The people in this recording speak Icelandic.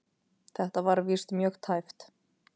Þetta var víst mjög tæpt.